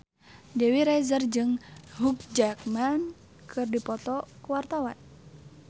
Dewi Rezer jeung Hugh Jackman keur dipoto ku wartawan